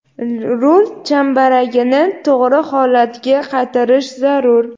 rul chambaragini to‘g‘ri holatga qaytarish zarur.